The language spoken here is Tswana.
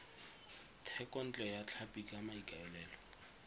thekontle ya tlhapi ka maikaelelo